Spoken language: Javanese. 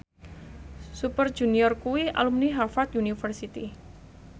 Super Junior kuwi alumni Harvard university